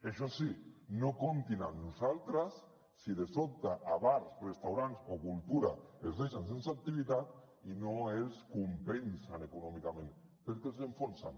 això sí no comptin amb nosaltres si de sobte a bars restaurants o cultura els deixen sense activitat i no els compensen econòmicament perquè els enfonsen